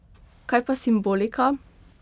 Kaj pa simbolika?